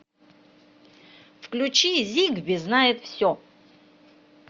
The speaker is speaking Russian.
включи зигби знает все